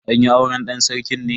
An yi auren dan sarki ne?